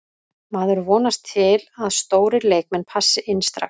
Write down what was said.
Maður vonast til að stórir leikmenn passi inn strax.